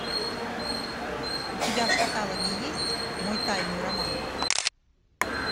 у тебя в каталоге есть мой тайный роман